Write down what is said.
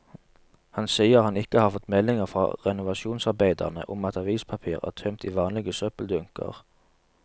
Han sier han ikke har fått meldinger fra renovasjonsarbeiderne om at avispapir er tømt i vanlige søppeldunker.